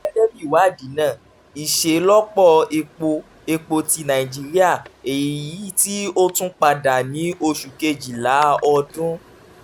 gẹgẹbi iwadi naa iṣelọpọ epo epo ti nàìjíríà eyiti o tun pada ni oṣu kejila ọdun